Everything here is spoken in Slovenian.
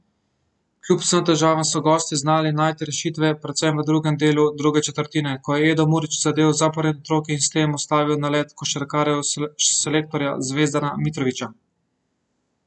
Kljub vsem težavam so gostje znali najti rešitve, predvsem v drugem delu druge četrtine, ko je Edo Murić zadel zaporedni trojki in s tem ustavil nalet košarkarjev selektorja Zvezdana Mitrovića.